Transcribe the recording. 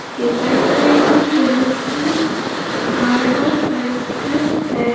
इसके side - side में बहुत सारी पहाड़ और पत्थर है।